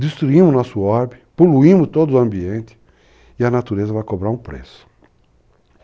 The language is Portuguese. Destruímos o nosso orbe, poluímos todo o ambiente, e a natureza vai cobrar um preço.